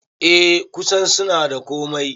Eh kusan suna da komai